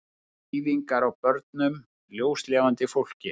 Eyðingar á börnum, ljóslifandi fólki.